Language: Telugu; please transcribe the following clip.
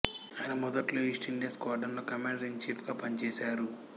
ఆయన మొదట్లో ఈస్ట్ ఇండియా స్క్వార్డ్రన్ లో కమాండర్ ఇన్ ఛీఫ్ గా పనిచేసారు